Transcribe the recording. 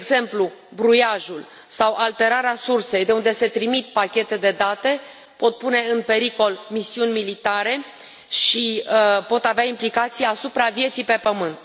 De exemplu, bruiajul sau alterarea sursei de unde se trimit pachete de date pot pune în pericol misiuni militare și pot avea implicații asupra vieții pe pământ.